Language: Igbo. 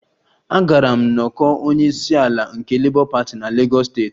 Agara m nnọkọ onye isi ala nke Labour party na Lagos steeti